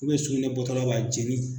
Ubiyɛn sugunɛ bɔtɔla la jeli